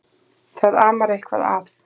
Það amar eitthvað að.